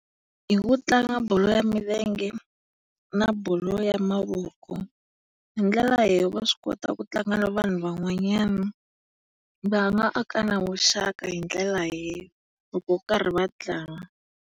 Hi ku tlanga bolo ya milenge na bolo ya mavoko. Hi ndlela va swi kota ku tlanga na vanhu van'wanyana. Va va aka na vuxaka hi ndlela loko va karhi va tlanga.